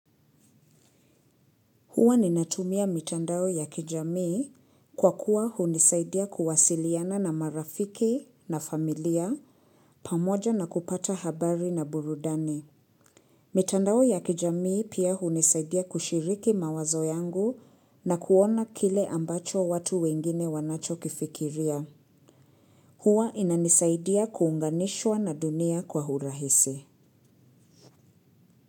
Hua ninatumia mitandao ya kijamii kwa kuwa hunisaidia kuwasiliana na marafiki na familia pamoja na kupata habari na burudani. Mitandao ya kijamii pia hunisaidia kushiriki mawazo yangu na kuona kile ambacho watu wengine wanachokifikiria. Huwa inanisaidia kuunganishwa na dunia kwa urahisi.